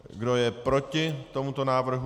Kdo je proti tomuto návrhu?